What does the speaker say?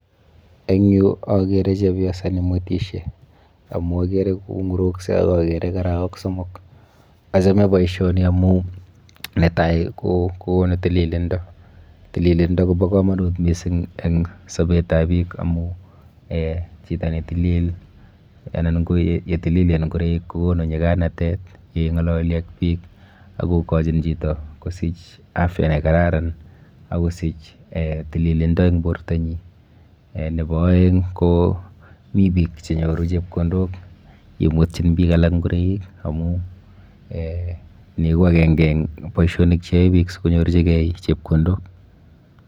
Eng yuu okere chebioset nemwetishe amuun okere kong'urukse ak okere kiraok somok, achome boishoni amun netai ko konu tililindo, tililindo kobo komonut mising en sobetab biik amun chito netilil anan ko yetililen ing'oroik kokonu nyikanatet ing'ololi ak biik ak kokochin chito kosich afya nekararan ak kosich tililindo en bortanyin, nebo oeng ko mii biik chenyoruu chepkondok yemwetyin biik alak ing'oroik amuun nii ko akeng'e en boishonik cheyoe biik sikonyorchikee chepkondok.